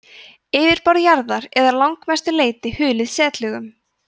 yfirborð jarðar er að langmestu leyti hulið setlögum